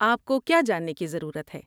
آپ کو کیا جاننے کی ضرورت ہے؟